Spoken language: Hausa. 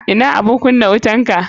Ina abun kunna wutanka.